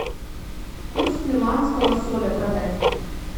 курс перуанского соля продать